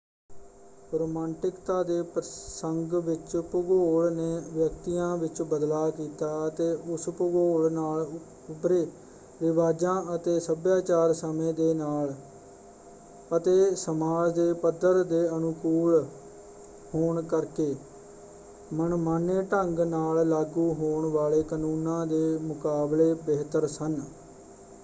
ਰੁਮਾਂਟਿਕਤਾ ਦੇ ਪ੍ਰਸੰਗ ਵਿੱਚ ਭੂਗੋਲ ਨੇ ਵਿਅਕਤੀਆਂ ਵਿੱਚ ਬਦਲਾਅ ਕੀਤਾ ਅਤੇ ਉਸ ਭੂਗੋਲ ਨਾਲ ਉਭਰੇ ਰਿਵਾਜਾਂ ਅਤੇ ਸੱਭਿਆਚਾਰ ਸਮੇਂ ਦੇ ਨਾਲ ਅਤੇ ਸਮਾਜ ਦੇ ਪੱਧਰ ਦੇ ਅਨੁਕੂਲ ਹੋਣ ਕਰਕੇ ਮਨਮਾਨੇ ਢੰਗ ਨਾਲ ਲਾਗੂ ਹੋਣ ਵਾਲੇ ਕਾਨੂੰਨਾਂ ਦੇ ਮੁਕਾਬਲੇ ਬਿਹਤਰ ਸਨ।